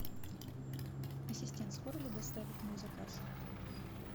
ассистент скоро ли доставят мой заказ